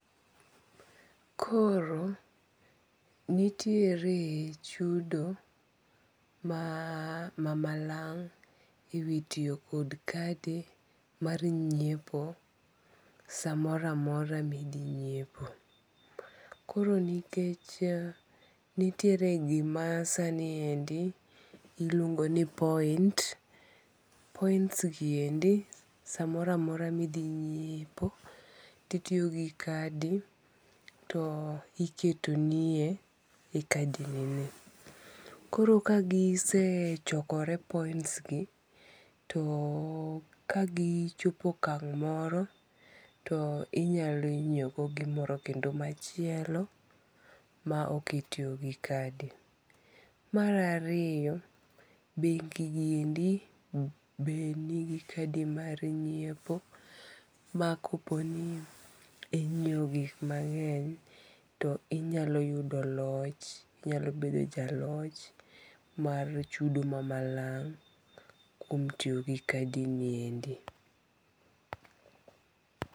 Koro nitiere chudo ma mamalang' e wi tiyo kod kadi mar nyiepo samoroamora ma ithi nyiepo, koro nikech nitiere gima sani endi iluongo' ni point, points gi endi samoro amora ma ithi nyiepo titiyo gi kadi to iketonie e kadi nie , koro ka gisechokore points gi to kagichopo okang' moro to inyalo nyiewo godo gimoro kendo machielo ma oketie gi kadi, mara riyo bengi' gi endi be nigi kadi mar nyiepo makoponi inyiewo gik mange'ny to inyalo yudo loch inyalo bedo jaloch mar chudo mamalang' kuom tiyo gi kadi niendi.